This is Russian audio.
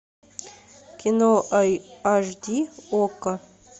кино аш ди окко